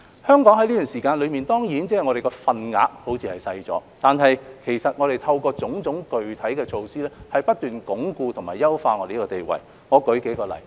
香港於這段時間內所佔的份額看似是小了，但其實透過種種具體的措施，是不斷鞏固和優化香港的地位。